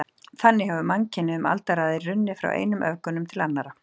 Þannig hefir mannkynið um aldaraðir runnið frá einum öfgunum til annara.